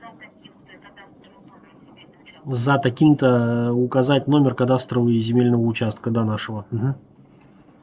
за таким-то кадастровым номером земельного участка за таким то указать номер кадастрового и земельного участка да нашего